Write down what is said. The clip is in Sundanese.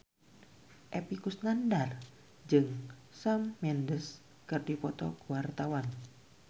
Epy Kusnandar jeung Shawn Mendes keur dipoto ku wartawan